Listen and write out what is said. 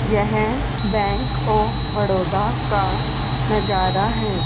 यह bank of Baroda का नजारा है।